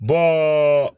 Bɔ